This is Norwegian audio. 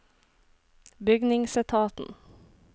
bygningsetaten